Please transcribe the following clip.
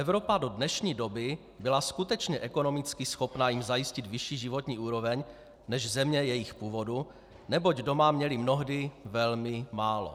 Evropa do dnešní doby byla skutečně ekonomicky schopna jim zajistit vyšší životní úroveň než země jejich původu, neboť doma měli mnohdy velmi málo.